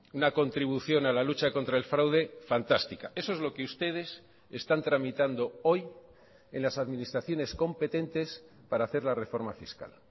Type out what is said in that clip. una contribución a la lucha contra el fraude fantástica eso es lo que ustedes están tramitando hoy en las administraciones competentes para hacer la reforma fiscal